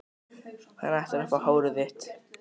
Hann ætlar að fá hárið þitt.